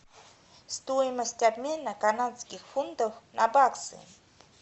стоимость обмена канадских фунтов на баксы